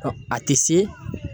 Ɔ a te se